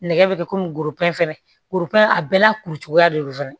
Nɛgɛ bɛ kɛ komi gorobinɛ fɛnɛ robinɛ a bɛɛ n'a kuru cogoya de don fɛnɛ